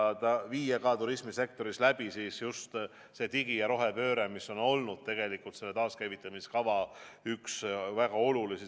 Oleks vaja viia ka turismisektoris läbi digi- ja rohepööre, mis on olnud üks väga olulisi taaskäivitamiskava nurgakive.